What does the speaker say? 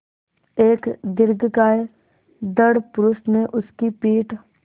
एक दीर्घकाय दृढ़ पुरूष ने उसकी पीठ